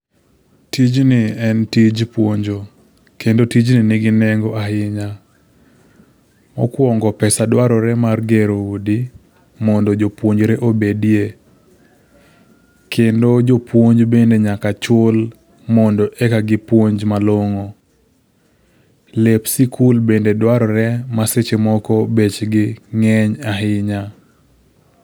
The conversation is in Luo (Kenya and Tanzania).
Tijni en tij puonjo, kendo tijni nigi nengo ahinya. Mokuongo pesa dwarore mar gero udi, mondo jopuonjre obedie. Kendo jopuonj bende nyaka chul mondo eka gipuonj malong'o. Lep sikul bende dwarore ma seche moko bechgi ng'eny ahinya.